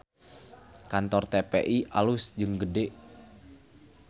Kantor TPI alus jeung gede